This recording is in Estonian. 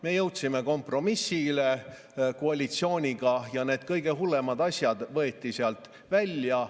Me jõudsime kompromissile koalitsiooniga ja need kõige hullemad asjad võeti sealt välja.